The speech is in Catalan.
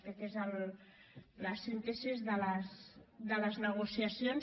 aquesta és la síntesi de les negociacions